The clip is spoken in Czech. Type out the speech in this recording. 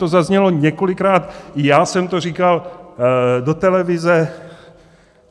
To zaznělo několikrát, i já jsem to říkal do televize.